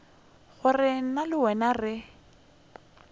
gore nna le wena re